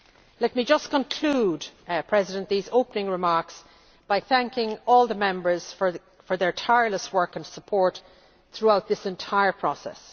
Let me just conclude these opening remarks by thanking all the Members for their tireless work and support throughout this entire process.